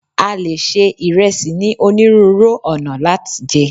a lè ṣe ìresì ni oniruuru ọnà lat jẹ